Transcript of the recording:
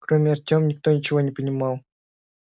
кроме артёма никто ничего не понимал